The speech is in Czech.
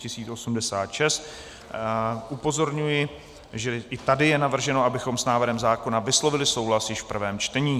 Upozorňuji, že i tady je navrženo, abychom s návrhem zákona vyslovili souhlas již v prvém čtení.